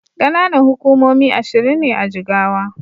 Ƙananan hukumomi ashirin ne a Jigawa.